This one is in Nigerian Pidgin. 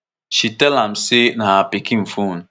she tell am say na her pikin phone